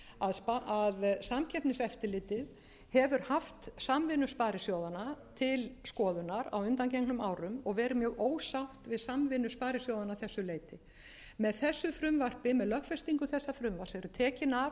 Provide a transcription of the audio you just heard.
umræðum að samkeppniseftirlitið hefur haft samvinnu sparisjóðanna til skoðunar á undangengnum árum og verið mjög ósátt við samvinnu sparisjóðanna að þessu leyti með lögfestingu þessa frumvarps eru tekin af öll